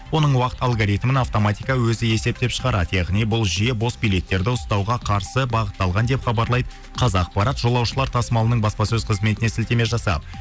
оның уақыт алгоритмін автоматика өзі есептеп шығарады яғни бұл жүйе бос билеттерді ұстауға қарсы бағытталған деп хабарлайды қазақпарат жолаушылар тасымалының баспасөз қызметіне сілтеме жасап